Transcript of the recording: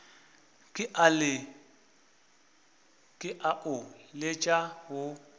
ke a o letša wo